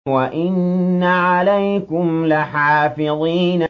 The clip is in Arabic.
وَإِنَّ عَلَيْكُمْ لَحَافِظِينَ